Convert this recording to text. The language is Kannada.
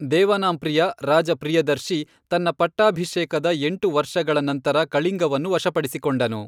ದೇವಾನಾಂಪ್ರಿಯ, ರಾಜ ಪ್ರಿಯದರ್ಶಿ ತನ್ನ ಪಟ್ಟಾಭಿಷೇಕದ ಎಂಟು ವರ್ಷಗಳ ನಂತರ ಕಳಿಂಗವನ್ನು ವಶಪಡಿಸಿಕೊಂಡನು.